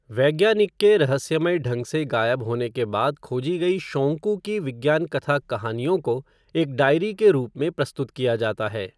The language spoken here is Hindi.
वैज्ञानिक के रहस्यमय ढंग से गायब होने के बाद खोजी गई शोंकू की विज्ञान कथा कहानियों को एक डायरी के रूप में प्रस्तुत किया जाता है।